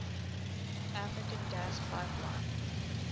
african gas pipeline